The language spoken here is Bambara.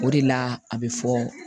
O de la a bɛ fɔ